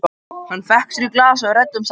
Þar fékk hann sér í glas og við ræddum saman.